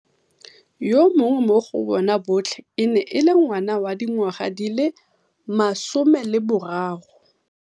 Yo monnye mo go bona botlhe e ne e le ngwana wa dingwaga di le 13.